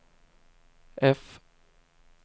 F